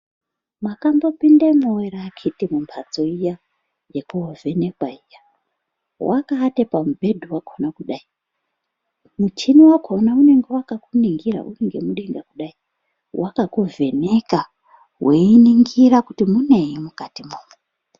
Mwakambopindemwowo ere akhiti mumphatso iya yekoovhenekwa iya, wakaate pamubhedhu wakhona kudai muchini wakhona unenge wakakuningira uringemudenga kudai, wakakuvheneka weiningira kuti munei mukati mwomwo.